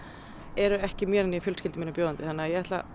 eru ekki mér né fjölskyldu minni bjóðandi þannig ég ætla